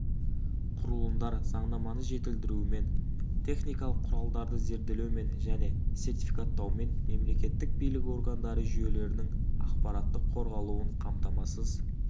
құрылымдар заңнаманы жетілдірумен техникалық құралдарды зерделеумен және сертификаттаумен мемлекеттік билік органдары жүйелерінің ақпараттық қорғалуын қамтамасыз